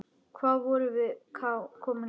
Hvað vorum við komin langt?